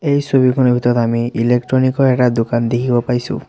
এই ছবিখনৰ ভিতৰত আমি ইলেকট্ৰনিক ৰ এটা দোকান দেখিব পাইছোঁ।